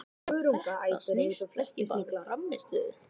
Þetta snýst ekki bara um hans frammistöðu.